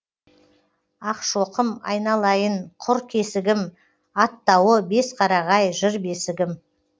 ақшоқым айналайын құр кесігім аттауы бесқарағай жыр бесігім